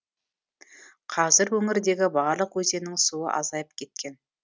қазір өңірдегі барлық өзеннің суы азайып кеткен